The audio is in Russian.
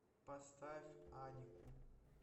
поставь анику